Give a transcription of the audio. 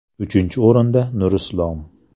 Uchinchi o‘rinda Nurislom.